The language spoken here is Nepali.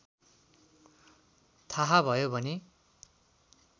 थाहा भयो भने